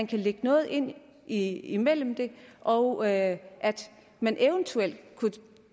kan lægge noget ind ind imellem og at man eventuelt kunne